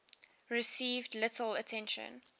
received little attention